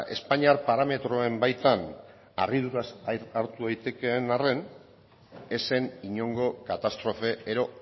espainiar parametroen baitan harriduraz hartu daitekeen arren ez zen inongo katastrofe edo